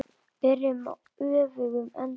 Byrjum á öfugum enda.